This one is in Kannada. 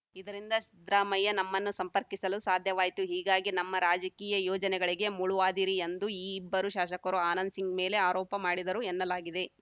ಇದರಿಂದ ಸಿದ್ದರಾಮಯ್ಯ ನಮ್ಮನ್ನು ಸಂಪರ್ಕಿಸಲು ಸಾಧ್ಯವಾಯಿತು ಹೀಗಾಗಿ ನಮ್ಮ ರಾಜಕೀಯ ಯೋಜನೆಗಳಿಗೆ ಮುಳುವಾದಿರಿ ಎಂದು ಈ ಇಬ್ಬರು ಶಾಸಕರು ಆನಂದ್‌ ಸಿಂಗ್‌ ಮೇಲೆ ಆರೋಪ ಮಾಡಿದರು ಎನ್ನಲಾಗಿದೆ